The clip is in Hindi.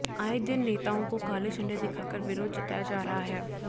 आए दिन नेताओं को काले झंडे दिखाकर विरोध जताया जा रहा है